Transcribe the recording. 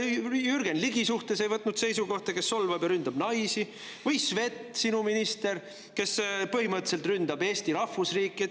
Ei võtnud seisukohta ka Jürgen Ligi suhtes, kes solvab ja ründab naisi, või Sveti, sinu ministri suhtes, kes põhimõtteliselt ründab Eesti rahvusriiki.